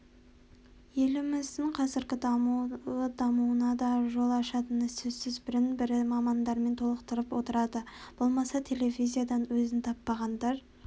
еліміздің қазіргі дамуы дамуына да жол ашатыны сөзсіз бірін-бірі мамандармен толықтырып отырады болмаса телевизиядан өзін таппағандар